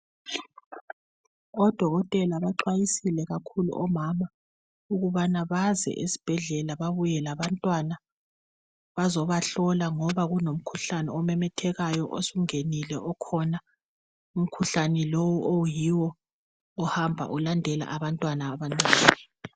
Odokotele baxwayisile kakhulu omama ukubana baze esibhedlela babuye labantwana bazobahlola ngoba kunomkhuhlane omemethakayo osungenile okhona umkhuhlane lo oyiwo ohamba ulandela abantwana abancane.